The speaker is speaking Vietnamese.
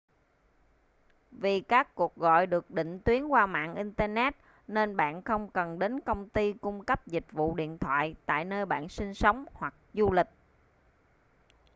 vì các cuộc gọi được định tuyến qua mạng internet nên bạn không cần đến công ty cung cấp dịch vụ điện thoại tại nơi bạn sinh sống hoặc du lịch